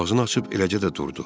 Ağzını açıb eləcə də durdu.